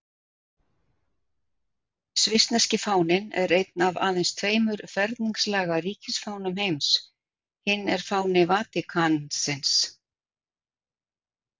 Svissneski fáninn er einn af aðeins tveimur ferningslaga ríkisfánum heims, hinn er fáni Vatíkansins.